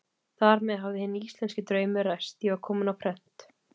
Þar með hafði hinn íslenski draumur ræst: ég var kominn á prent.